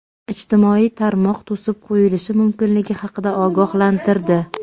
ijtimoiy tarmoq to‘sib qo‘yilishi mumkinligi haqida ogohlantirdi.